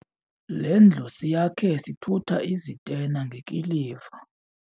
Le ndlu siyakhe sithutha izitena ngekiliva.